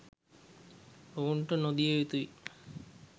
ඔවුන්ට නො දිය යුතු යි.